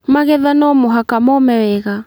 Magetha no mũhaka mome wega.